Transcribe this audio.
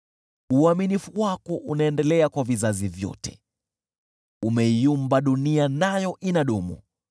Uaminifu wako unaendelea kwa vizazi vyote, umeiumba dunia, nayo inadumu.